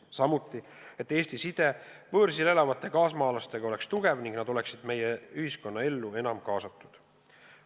Eesmärk on ka, et Eesti side võõrsil elavate kaasmaalastega oleks tugev ning nad oleksid meie ühiskonnaellu enam kaasatud.